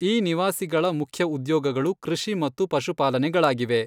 ಈ ನಿವಾಸಿಗಳ ಮುಖ್ಯ ಉದ್ಯೋಗಗಳು ಕೃಷಿ ಮತ್ತು ಪಶುಪಾಲನೆಗಳಾಗಿವೆ.